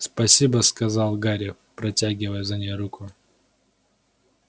спасибо сказал гарри протягивая за ней руку